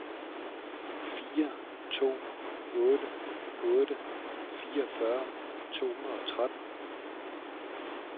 fire to otte otte fireogfyrre to hundrede og tretten